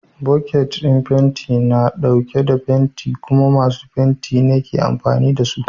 Boket ɗin fenti na ɗauke da fenti kuma masu fenti ne ke amfani da su.